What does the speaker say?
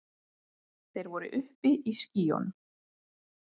Þeir voru uppi í skýjunum.